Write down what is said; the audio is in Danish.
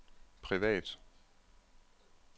privat